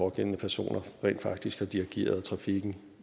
pågældende personer rent faktisk har dirigeret trafikken